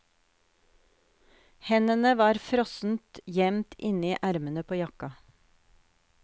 Hendene var frossent gjemt inni ermene på jakka.